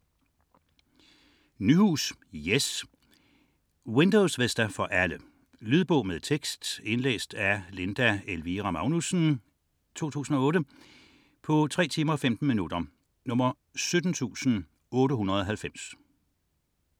19.672 Windows Vista Nyhus, Jes: Windows Vista for alle Lydbog med tekst 17890 Indlæst af Linda Elvira Magnussen, 2008. Spilletid: 3 timer, 15 minutter.